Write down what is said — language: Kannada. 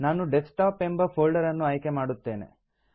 ನಾನು ಡೆಸ್ಕ್ಟಾಪ್ ಎಂಬ ಫೋಲ್ಡರ್ ಅನ್ನು ಆಯ್ಕೆ ಮಾಡುತ್ತೇನೆ